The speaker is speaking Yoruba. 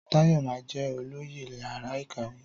Táyọ̀ máa jẹ olóyè yàrá ìkàwé